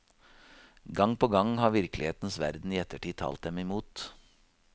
Gang på gang har virkelighetens verden i ettertid talt dem imot.